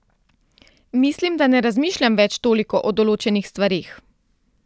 Mislim, da ne razmišljam več toliko o določenih stvareh.